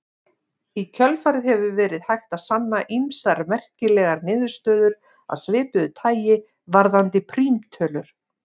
Í kjölfarið hefur verið hægt að sanna ýmsar merkilegar niðurstöður af svipuðu tagi varðandi prímtölur.